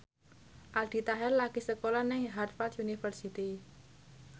Aldi Taher lagi sekolah nang Harvard university